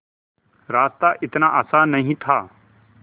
रास्ता इतना आसान नहीं था